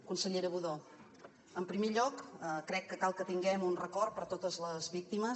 consellera budó en primer lloc crec que cal que tinguem un record per totes les víctimes